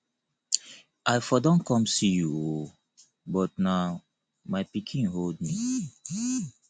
i for don come see you oo but na my pikin hold me